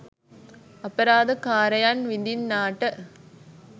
අපරාධ කාරයන් විඳින්නාට